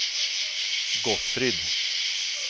Gottfrid